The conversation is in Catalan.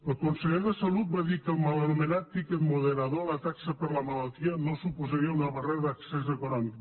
el conseller de salut va dir que el mal anomenat tiquet moderador la taxa per la malaltia no suposaria una barrera d’accés econòmic